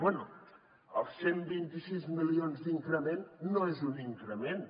bé els cent i vint sis milions d’increment no és un increment